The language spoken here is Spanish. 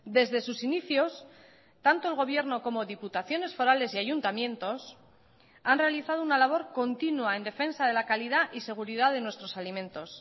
desde sus inicios tanto el gobierno como diputaciones forales y ayuntamientos han realizado una labor continua en defensa de la calidad y seguridad de nuestros alimentos